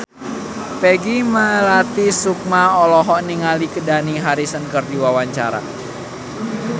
Peggy Melati Sukma olohok ningali Dani Harrison keur diwawancara